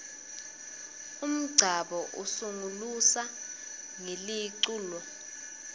umngcabo usungulusa ngeliculo